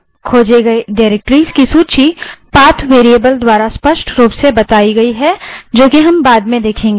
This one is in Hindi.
खोजे गए directories की सूची path variable द्वारा स्पष्ट रूप से बताई गयी है जो कि हम बाद में देखेंगे